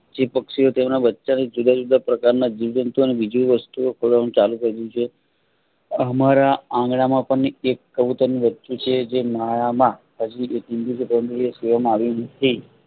જે પક્ષિયો તેમના બચ્ચા ની જુદા જુદા પ્રકારના જિયોવ જંતુ ઓ બીજી વાસતું ઓ ખાવડાવવા નું ચાલુ કરી દીધું છે. આમારા આંગણા માં પણ એક કબૂતરનું બચ્ચું છે. જે માળામાં એક ઈંડુ